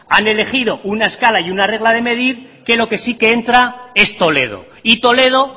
han elegido una escala y una regla de medir que lo que sí que entra es toledo y toledo